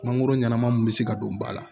Mangoro ɲɛnama mun bɛ se ka don ba la